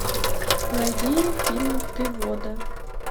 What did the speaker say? найди фильм ты вода